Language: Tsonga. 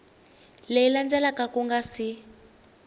leyi landzelaka ku nga si